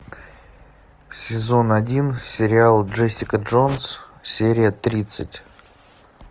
сезон один сериал джессика джонс серия тридцать